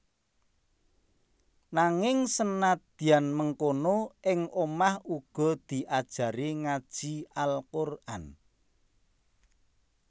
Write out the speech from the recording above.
Nanging senadyan mengkono ing omah uga diajari ngaji Al Quran